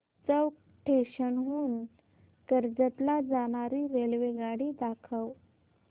चौक station हून कर्जत ला जाणारी रेल्वेगाडी दाखव